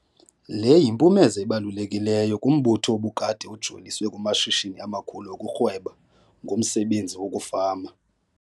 Le yimpumezo ebalulekileyo kumbutho obukade ujoliswe kumashishini amakhulu okurhweba ngomsebenzi wokufama.